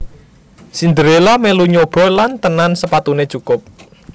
Cinderella melu nyoba lan tenan sepatunè cukup